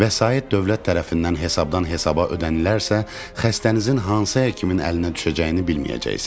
Vəsait dövlət tərəfindən hesabdan hesaba ödənilərsə, xəstənizin hansı həkimin əlinə düşəcəyini bilməyəcəksiz.